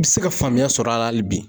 I bɛ se ka faamuya sɔrɔ a la hali bi.